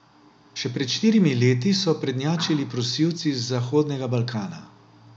Še pred štirimi leti so prednjačili prosilci z Zahodnega Balkana.